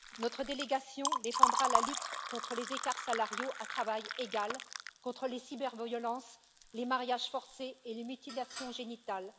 Notre délégation défendra la lutte contre les écarts salariaux à travail égal, contre les cyberviolences, les mariages forcés et les mutilations génitales.